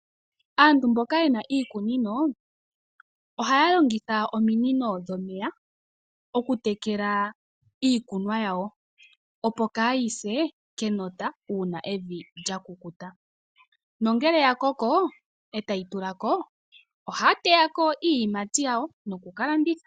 Aantu mboka yena iikunino ohaya longitha ominino dhomeya okutekela iikunwa yawo opo kayise kenota uuna evi lya kukuta nongele ya koko ya koko etayi tulako ohaya teyako iiyimati yawo nokuka landitha .